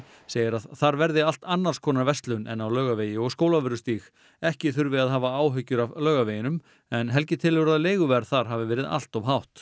segir að þar verði allt annars konar verslun en á Laugavegi og Skólavörðustíg ekki þurfi að hafa áhyggjur af Laugaveginum en Helgi telur að leiguverð þar hafi verið allt of hátt